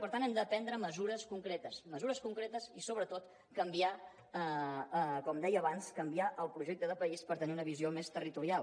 per tant hem de prendre mesures concretes mesures concretes i sobretot canviar com deia abans el projecte de país per tenir una visió més territorial